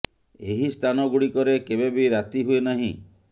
ଏହି ସ୍ଥାନ ଗୁଡିକରେ କେବେ ବି ରାତି ହୁଏ ନାହିଁ